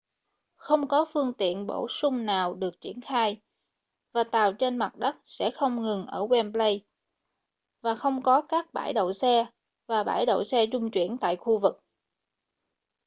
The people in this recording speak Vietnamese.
không có phương tiện bổ sung nào được triển khai và tàu trên mặt đất sẽ không dừng ở wembley và không có các bãi đậu xe và bãi đậu xe trung chuyển tại khu vực